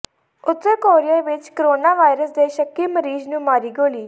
ਉਤਰ ਕੋਰੀਆ ਵਿਚ corona virus ਦੇ ਸ਼ੱਕੀ ਮਰੀਜ਼ ਨੂੰ ਮਾਰੀ ਗੋਲੀ